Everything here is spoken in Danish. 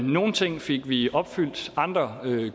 nogle ting fik vi opfyldt andre